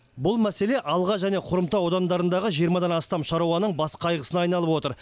бұл мәселе алға және хромтау аудандарындағы жиырмадан астам шаруаның бас қайғысына айналып отыр